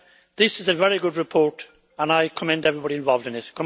this is a very good report and I commend everybody involved in it.